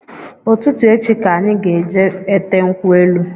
Ụtụtụ echi ka anyị ga-eje ete nkwu elu